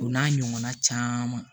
O n'a ɲɔgɔnna caman